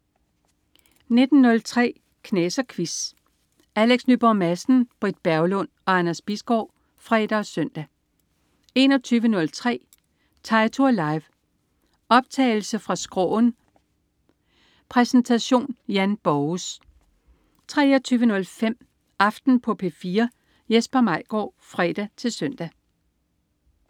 19.03 Knas og Quiz. Alex Nyborg Madsen, Britt Berglund og Anders Bisgaard (fre og søn) 21.03 Teitur Live. Optagelse fra Skråen. Præsentation Jan Borges 23.05 Aften på P4. Jesper Maigaard (fre-søn)